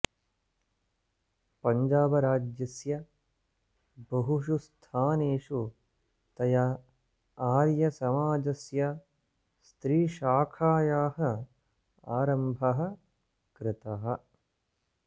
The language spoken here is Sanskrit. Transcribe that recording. पञ्जाबराज्यस्य बहुषु स्थानेषु तया आर्यसमाजस्य स्त्रीशाखायाः आरम्भः कृतः